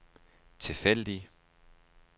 tilfældig